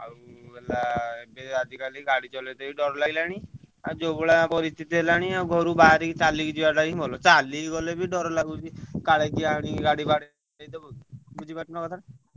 ଆଉ ହେଲା ଏବେ ଆଜିକାଲି ଗାଡି ଚଳେଇବାକୁ ଡ଼ର ଲାଗିଲାଣି ଆଉ ଯୋଉଭଳିଆ ପରିସ୍ଥିତି ହେଲାଣି ଘରୁ ବାହାରିବା ଚାଲିକି ଯିବାଟା ହିଁ ଭଲ ଚାଲିକି ଗଲେ ବି ଦାର ଲାଗୁଛି କାଳେ କିଏ ଗାଡି ଅନି ବାଡ଼େଇଡବ ବୁଝିପାରୁଛ ନାଁ କଥାଟା?